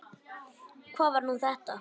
Hvað var nú þetta?